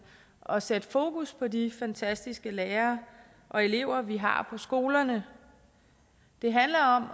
og sætte fokus på de fantastiske lærere og elever vi har på skolerne det handler om